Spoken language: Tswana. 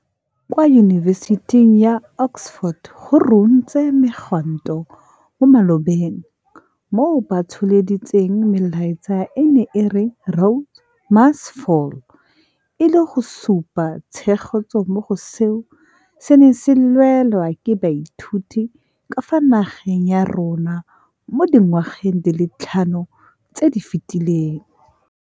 Kwa Yunibesiting ya Oxford go runtse megwanto mo malobeng moo batsholeditseng melaetsa e e neng e re Rhodes must Fall, e leng go supa tshegetso mo go seo se neng se lwelwa ke baithuti ka fa nageng ya rona mo dingwageng di le tlhano tse di fetileng.